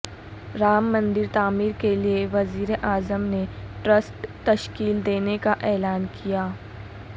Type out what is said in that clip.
رام مندر تعمیر کیلئے وزیر اعظم نے ٹرسٹ تشکیل دینے کا اعلان کیا